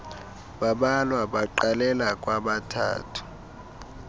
bambalwa baqalela kwabathathu